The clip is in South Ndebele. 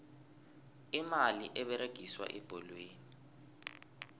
imali eberegiswa ebholweni